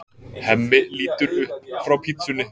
Hemmi lítur upp frá pitsunni.